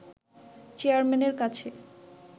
চেয়ারম্যানের কাছে